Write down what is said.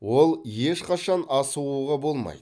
ол ешқашан асығуға болмайды